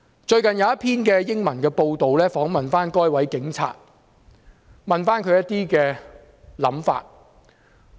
最近有一份英文報章訪問該名警員，詢問他的看法。